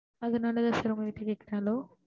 அதனால தான் sir உங்க கிட்ட கேக்குறேன் hello